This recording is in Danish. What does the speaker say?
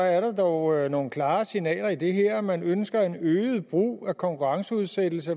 at der dog er nogle klare signaler i det her man ønsker en øget brug af konkurrenceudsættelse